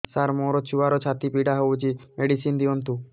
ସାର ମୋର ଛୁଆର ଛାତି ପୀଡା ହଉଚି ମେଡିସିନ ଦିଅନ୍ତୁ